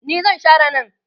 ni zan Share nan